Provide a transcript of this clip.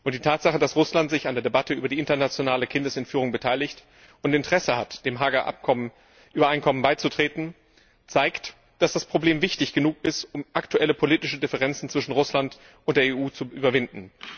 Die Tatsache, dass Russland sich an der Debatte über internationale Kindesentführung beteiligt und Interesse hat, dem Haager Übereinkommen beizutreten, zeigt, dass das Problem wichtig genug ist, um aktuelle politische Differenzen zwischen Russland und der EU zu überwinden.